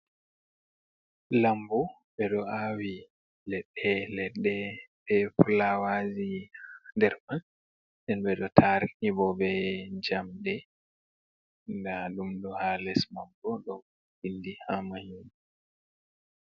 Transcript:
Lambu ɓe ɗo awi leɗɗe-leɗɗe be fuawaji derman nden ɓe ɗo tarni bo be jamɗe nda ɗumɗo ha les mabo do ɓili ha Mahi.